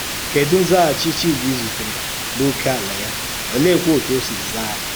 Kèdù nzàghàchí Chídì zutèrè n’ókèàlá ya, òlèékwà otú ọ sì zàá?